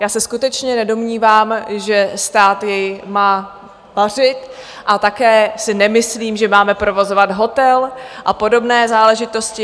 Já se skutečně nedomnívám, že stát jej má vařit, a také si nemyslím, že máme provozovat hotel a podobné záležitosti.